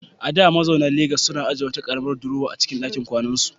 A da, mazauna Legas suna ajiye wata karamar durowa a cikin dakin kwanansu.